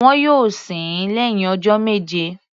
Wọn yóò sin ín lẹ́hìn ọjọ́ méje.